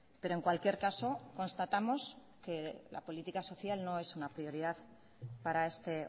pero en cualquier caso constatamos que la política social no es una prioridad para este